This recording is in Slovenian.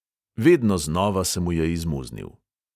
Vedno znova se mu je izmuznil.